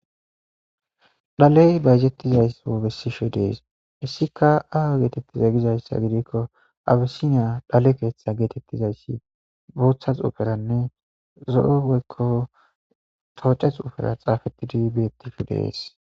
Shaley bayzetizaysa besishe dees hessika away getetize gizaysa gidiko abisiniya dhale keetha zo'o xuufeta ne tooce xuufeta xaaxetidi de'es.